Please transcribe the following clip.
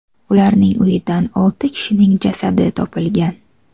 Ularning uyidan olti kishining jasadi topilgan.